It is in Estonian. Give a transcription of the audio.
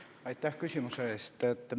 Aitäh küsimuse eest!